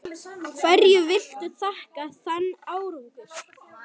Hverju viltu þakka þann árangur?